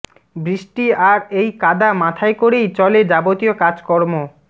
বৃষ্টি আর এই কাদা মাথায় করেই চলে যাবতীয় কাজকর্ম